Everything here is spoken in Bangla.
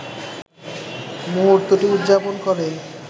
মুহূর্তটি উদযাপন করে